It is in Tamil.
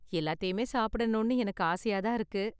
எல்லாத்தையுமே சாப்பிடணும்னு எனக்கு ஆசையா தான் இருக்கு.